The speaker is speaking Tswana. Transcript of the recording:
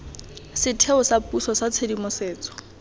setheo sa puso sa tshedimosetso